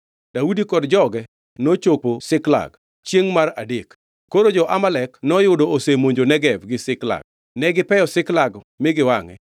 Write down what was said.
Daudi kod joge nochopo Ziklag chiengʼ mar adek. Koro jo-Amalek noyudo osemonjo Negev gi Ziklag. Negipeyo Ziklag mi giwangʼe,